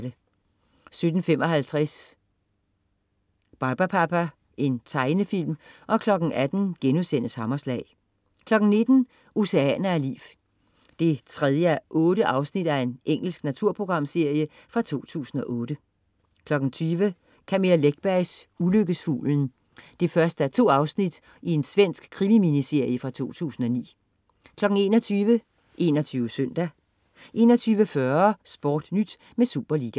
17.55 Barbapapa. Tegnefilm 18.00 Hammerslag* 19.00 Oceaner af liv. 3:8 Engelsk naturprogram fra 2008 20.00 Camilla Läckbergs Ulykkesfuglen 1:2 Svensk krimi-miniserie fra 2009. 21.00 21 Søndag 21.40 SportNyt med Superliga